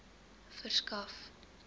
verskaf